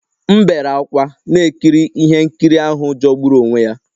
M bere ákwá na-ekiri ihe nkiri ahụ jọgburu onwe ya